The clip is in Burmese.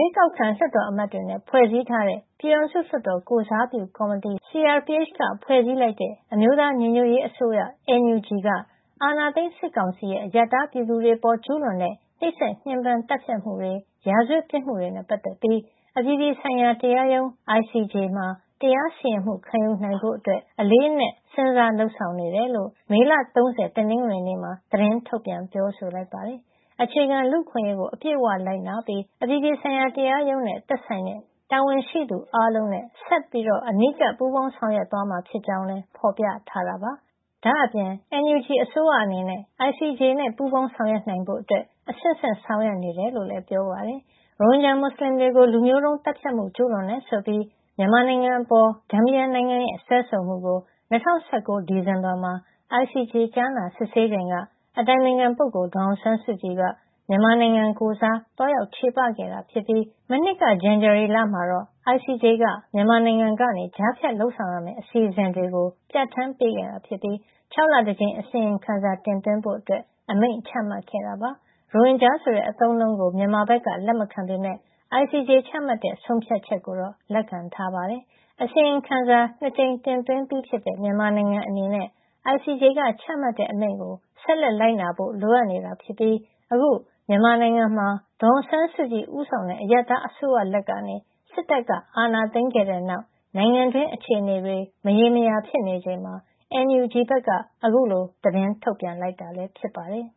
ေးကောက်ခံ လွှတ်တော်အမတ်တွေနဲ့ ဖွဲ့စည်းထားတဲ့ ပြည်ထောင်စုလွှတ်တော် ကိုယ်စားပြုကော်မတီ (CRPH) က ဖွဲ့စည်းလိုက်တဲ့ အမျိုးသားညီညွတ်ရေးအစိုးရ (NUG) က အာဏာသိမ်း စစ်ကောင်စီရဲ့ အရပ်သား ပြည်သူတွေအပေါ် ကျူးလွန်တဲ့ နှိပ်စက်ညှဉ်းပန်း သတ်ဖြတ်မှုတွေ၊ ရာဇဝတ်ပြစ်မှုတွေနဲ့ ပတ်သက်ပြီး အပြည်ပြည်ဆိုင်ရာတရားရုံး (ICJ) မှာ တရားစီရင်မှု ခံယူနိုင်ဖို့ အလေးအနက် စဉ်းစားလုပ်ဆောင်နေတယ်လို့ မေလ ၃၀ တနင်္ဂနွေနေ့မှာ သတင်းထုတ်ပြန် ပြောဆိုလိုက်ပါတယ်။ အခြေခံလူ့အခွင့်အရေးကို အပြည့်အဝ လိုက်နာပြီး အပြည်ပြည်ဆိုင်ရာ တရားရုံးနဲ့ သက်ဆိုင်တဲ့ တာဝန်ရှိသူ အားလုံးနဲ့ ဆက်ပြီး အနီးကပ် ပူးပေါင်းဆောင်ရွက်သွားမှာ ဖြစ်ကြောင်းလည်း ဖော်ပြထားပါတယ်။ ဒါ့အပြင် NUG အစိုးရအနေနဲ့ ICJ နဲ့ ပူးပေါင်းဆောင်ရွက်နိုင်ဖို့ အဆင့်ဆင့် ဆောင်ရွက်နေတယ်လို့လည်း ပြောပါတယ်။ ရိုဟင်ဂျာ မွတ်စလင်တွေကို လူမျိုးတုံးသတ်ဖြတ်မှု ကျူးလွန်တယ်ဆိုပြီး မြန်မာနိုင်ငံအပေါ် ဂမ်ဘီယာနိုင်ငံရဲ့ စွဲဆိုမှုကို ၂၀၁၉ ဒီဇင်ဘာမှာ ICJ ကြားနာစစ်ဆေးချိန်က အတိုင်ပင်ခံပုဂ္ဂိုလ် ဒေါ်အောင်ဆန်းစုကြည်က မြန်မာနိုင်ငံကိုယ်စား သွားရောက်ချေပခဲ့တာဖြစ်ပြီး မနှစ်က ဇန်နဝါရီလမှာတော့ ICJ က မြန်မာနိုင်ငံကနေ ကြားဖြတ်လုပ်ဆောင်ရမယ့် အစီအစဉ်တွေ Provisional Measures ကို ပြဋ္ဌာန်းပေးခဲ့ပြီး ၆ လတကြိမ် အစီရင်ခံစာ တင်သွင်းဖို့ အမိန့်ချမှတ်ခဲ့တာပါ။ ရိုဟင်ဂျာဆိုတဲ့ အသုံးအနှုန်းကို မြန်မာဘက်က လက်မခံပေမယ့် ICJ ချမှတ်တဲ့ ဆုံးဖြတ်ချက်ကိုတော့ လက်ခံထားပါတယ်။ အစီရင်ခံစာ ၂ ကြိမ်တင်သွင်းပြီးဖြစ်တဲ့ မြန်မာနိုင်ငံအနေနဲ့ ICJ က ချမှတ်တဲ့အမိန့်ကို ဆက်လက်လိုက်နာဖို့ လိုအပ်နေတာဖြစ်ပြီး အခု မြန်မာနိုင်ငံမှာ ဒေါ်အောင်ဆန်းစုကြည် ဦးဆောင်တဲ့ အရပ်သားအစိုးရလက်ကနေ စစ်တပ်အာဏာသိမ်းခဲ့တဲ့နောက် နိုင်ငံတွင်း အခြေနေတွေက မရေမရာ ဖြစ်နေချိန်မှာ NUG ဘက်က အခုလို သတင်းထုတ်ပြန်လိုက်တာ ဖြစ်ပါတယ်